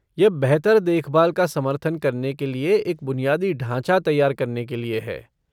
यह बेहतर देखभाल का समर्थन करने के लिए एक बुनियादी ढाँचा तैयार करने के लिए है।